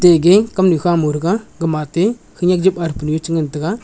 gage kamnu kha mau thega gama ate khanak jupa athepu chi ngantaga.